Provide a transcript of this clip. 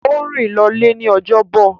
Ó rìn lọlé ní ojọ́bọ̀.